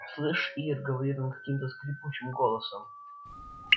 слышишь ир говорит он каким-то скрипучим голосом